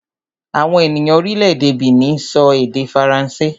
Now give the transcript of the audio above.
Àwọn ènìyàn orílẹ̀-èdè Benin sọ èdè Faransé